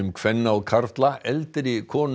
kvenna og karla eldri konur